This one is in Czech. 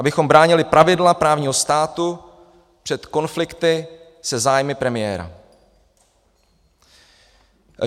Abychom bránili pravidla právního státu před konflikty se zájmy premiéra.